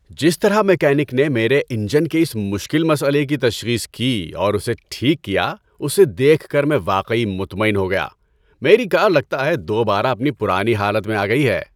جس طرح میکینک نے میرے انجن کے اس مشکل مسئلے کی تشخیص کی اور اسے ٹھیک کیا اسے دیکھ کر میں واقعی مطمئن ہو گیا۔ میری کار لگتا ہے دوبارہ اپنی پرانی حالت میں آ گئی ہے۔